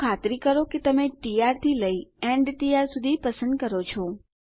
તો ખાતરી કરો કે તમે ટી આર થી લઈ એન્ડ ટી આર સુધી પસંદ કરો છો